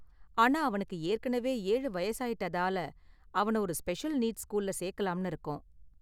ஆனா, அவனுக்கு ஏற்கனவே ஏழு வயசாயிட்டதால, அவன ஒரு ஸ்பெஷல் நீட்ஸ் ஸ்கூல்ல சேர்க்கலாம்னு இருக்கோம்.